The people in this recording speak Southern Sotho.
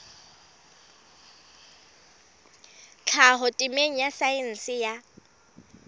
tlhaho temeng ya saense ya